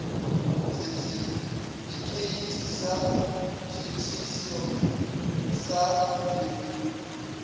sethifikheithi sa šuthišo sa eur